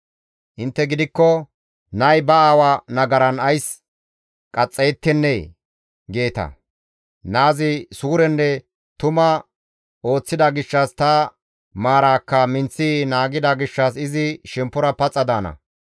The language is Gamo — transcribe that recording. «Intte gidikko, ‹Nay ba aawa nagaran ays qaxxayettennee?› geeta. Naazi suurenne tuma ooththida gishshas, ta maaraakka minththi naagida gishshas izi shemppora paxa daana.